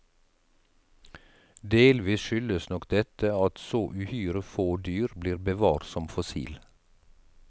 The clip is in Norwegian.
Delvis skyldes nok dette at så uhyre få dyr blir bevart som fossil.